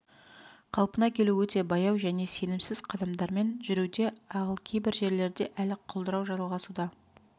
қалпына келу өте баяу және сенімсіз қадамдармен жүруде ал кейбір жерлерде әлі құлдырау жалғасуда